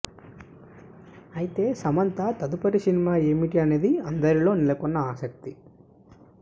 అయితే సమంత తదుపరి సినిమా ఏమిటి అనేది అందరిలో నెలకొన్న ఆసక్తి